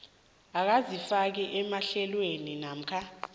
akazifaki emahlelweni namkha